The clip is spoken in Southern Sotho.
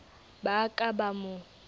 ba a ka ba mo